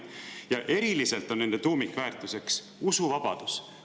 Ja eriliselt on nende tuumikväärtuseks usuvabadus.